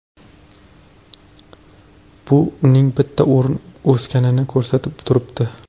Bu uning bitta o‘rin o‘sganini ko‘rsatib turibdi.